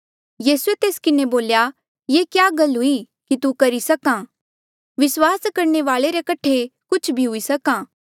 यीसूए तेस किन्हें बोल्या ये क्या गल हुई की तू करी सका विस्वास करणे वाले रे कठे कुछ भी हुई सक्हा